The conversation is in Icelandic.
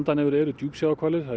þær eru af ætt